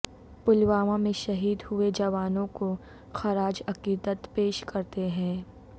پلوامہ میں شہید ہوئے جوانوں کو خراج عقیدت پیش کرتے ہیں